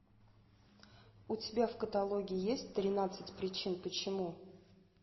у тебя в каталоге есть тринадцать причин почему